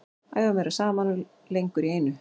Æfa meira saman og lengur í einu.